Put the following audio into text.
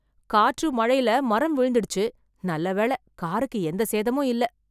காற்று மழைல மரம் விழுந்துடுச்சு, நல்ல வேல காருக்கு எந்த சேதமும் இல்ல.